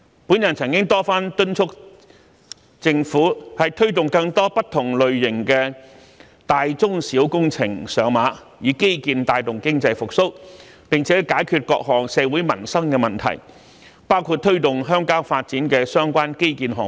我曾多番敦促政府推動更多不同類型的大中小工程上馬，以基建帶動經濟復蘇，並解決各項社會民生的問題，包括推動鄉郊發展的相關基建項目。